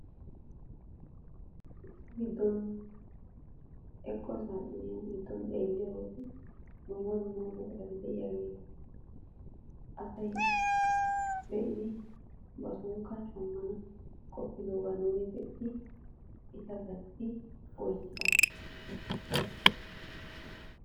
So giddon eqqo saaxiniyaa giddo xeelliyoo wode dumma dumma buqurati de'iyaageta asay be'idi ba soonikka shammana qoppidoogaa nuuni be'idi eta gatiyaa oychchida!